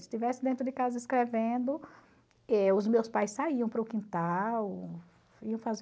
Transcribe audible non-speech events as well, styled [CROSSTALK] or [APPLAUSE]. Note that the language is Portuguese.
Se estivesse dentro de casa escrevendo, [UNINTELLIGIBLE] os meus pais saíam para o quintal, iam [UNINTELLIGIBLE]